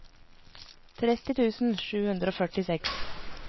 tretti tusen sju hundre og førtiseks